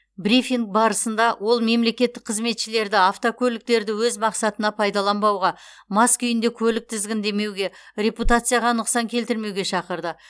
брифинг барысында ол мемлекеттік қызметшілерді автокөліктерді өз мақсатына пайдаланбауға мас күйінде көлік тізгіндемеуге репутацияға нұқсан келтірмеуге шақырды